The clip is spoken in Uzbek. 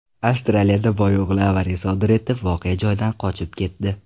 Avstraliyada boyo‘g‘li avariya sodir etib, voqea joyidan qochib ketdi.